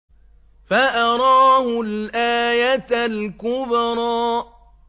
فَأَرَاهُ الْآيَةَ الْكُبْرَىٰ